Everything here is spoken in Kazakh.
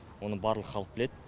оны барлық халық біледі